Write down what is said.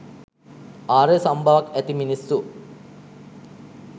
ආර්ය සම්බවක් ඇති මිනිස්සු